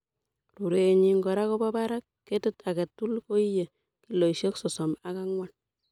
Rurenyin kora kobo barak. Ketit agetugul koiye kiloisiek sosom ok angwan.